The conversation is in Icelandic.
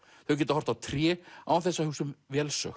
þau geta horft á tré án þess að hugsa um